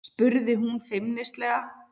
spurði hún feimnislega.